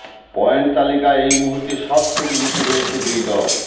point তালিকায় এই মুহূর্তে সবথেকে নীচে রয়েছে দুই দল